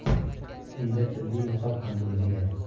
Unda tibbiy niqob ham bo‘lmagan.